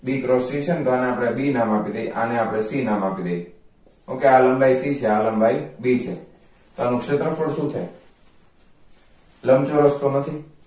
લંબચોરસ તો નથી b cross c છેને તો આને આપણે c નામ આપી દઈ okay આ લંબાઈ c છે આ લંબાઈ b છે તો આનું ક્ષેત્રફળ શું થાઈ